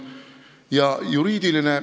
Ja juriidiline ...